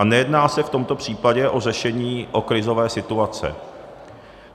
A nejedná se v tomto případě o řešení o krizové situace.